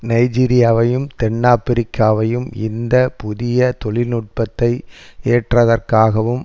நைஜீரியாவையும் தென்னாப்பிரிக்காவையும் இந்த புதிய தொழில்நுட்பத்தை ஏற்றதற்காகவும்